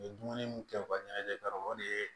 U ye dumuni mun kɛ u ka ɲɛnajɛ kɛ yɔrɔ la o de ye